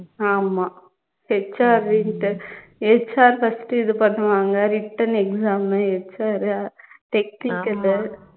ஆமா HR HR first இது பண்ணுவாங்க written exam உ HR உ technical உ